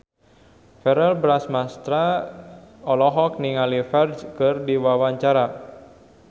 Verrell Bramastra olohok ningali Ferdge keur diwawancara